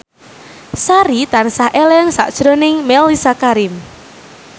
Sari tansah eling sakjroning Mellisa Karim